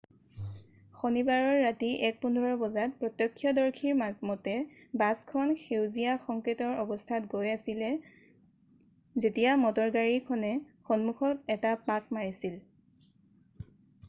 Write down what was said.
শনিবাৰে ৰাতি 1:15 বজাত প্ৰত্যৰ্শদৰ্শীৰ মতে বাছখন সেউজীয়া সংকেটৰ অৱস্থাত গৈ আছিলে যেতিয়া মটৰগাড়ী খনে সন্মুখত এটা পাক মাৰিছিল